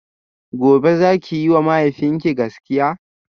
gobe zaki yiwa mahaifinki gaskiya?